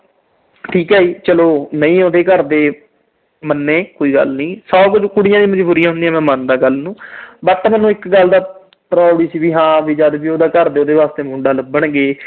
ਠੀਕ ਆ ਜੀ ਚਲੋ, ਨਹੀਂ ਉਹਦੇ ਘਰ ਦੇ ਮੰਨੇ, ਕੋਈ ਗੱਲ ਨੀ। ਸੌ ਕੁਛ ਮਜਬੂਰੀਆਂ ਹੁੰਦੀਆਂ, ਮੈਂ ਮੰਨਦਾ ਗੱਲ ਨੂੰ। but ਮੈਨੂੰ ਇਕ ਗੱਲ ਦਾ proud ਸੀ ਜਦ ਵੀ ਉਸਦੇ ਘਰ ਦੇ ਉਹਦੇ ਵਾਸਤੇ ਮੁੰਡਾ ਲੱਭਣਗੇ